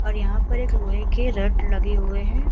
और यहाँ पर एक लोहे के रड़ लगे हुए हैं।